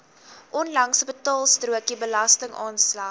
onlangse betaalstrokie belastingaanslag